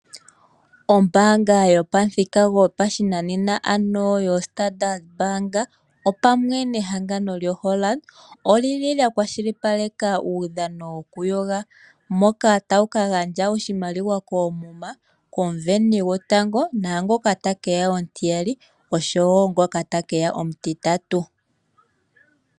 Ombanga yopamuthika gopashinanena yoStandardbank opamwe nehangano lyoHollard oli li lya kwashilipaleka uudhano woku yoga moka tawu ka gandja oshimaliwa komuma ko muveni gotango, nangoka te keya omutiyali oshowo ngoka te keya omutitatu.